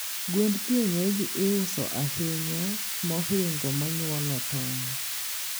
Gwen kienyeji iuso ahinya mohingo mnyuolo tong'.